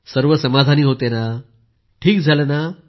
सर्व समाधानी होते की ठीक झालं आहे